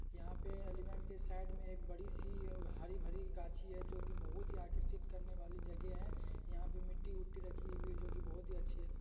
यहां पे एलीफैंट के साइड में एक बड़ी सी अ हरी भरी गाछी है जो की बहुत ही आकर्षित करने वाली जगह है यहां पे मिट्टी उट्टी रखी हुई है जो की बहुत ही अच्छी है।